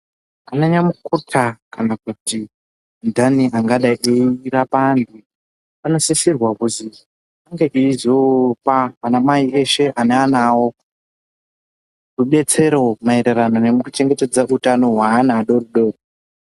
Anyamukuta kana kuti andani angadai eirapa antu anosisirwa kuzi unge eizopa anamai eshe aneana awo rudetsere maererano nekuchengetedza utano wevana adodori.